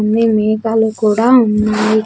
అన్నీ మెగలు కూడా ఉన్నాయి .]